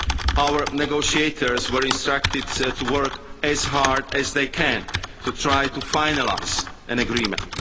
Our negotiators were instructed to work as hard as they can to try to finalise an